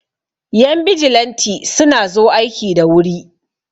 Yan bijilanti suna zo aiki da wuri